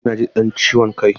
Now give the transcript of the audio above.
Jiya naji wani ɗan ciwon kai.